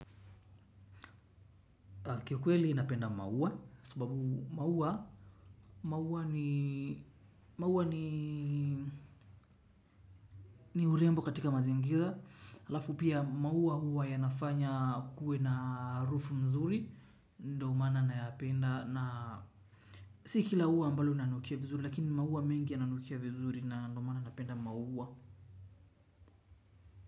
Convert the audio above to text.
Kwa kweli napenda maua, sababu maua maua ni urembo katika mazingira. Alafu pia maua huwa yanafanya kuwe na harufu nzuri, ndio maana nayapenda. Si kila ua ambalo linanukia vizuri, lakini maua mengi yananukia vizuri ndio maana napenda maua.